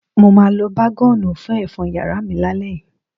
Mo máa lo bágọ́ọ̀nù fún ẹ̀fọ́n yàrá mi lálẹ́ yìí.